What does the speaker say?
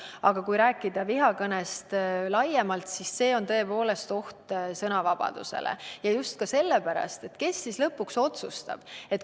Aga kui rääkida vihakõnest laiemalt, siis see on tõepoolest oht sõnavabadusele – ja just sellepärast, et kes siis lõpuks otsustab.